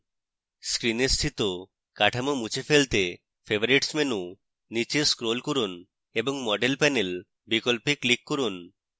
screen স্থিত কাঠামো মুছে ফেলতে favorites menu নীচে scroll করুন এবং model panel বিকল্পে click করুন